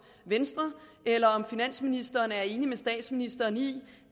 venstre eller om finansministeren er enig med statsministeren i